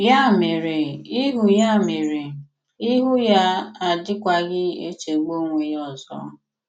Yà mèrè, “íhù́ Yà mèrè, “íhù́ ya adịkwaghị̀ echegbù onwe ya ọzọ.